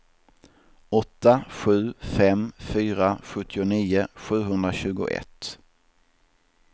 åtta sju fem fyra sjuttionio sjuhundratjugoett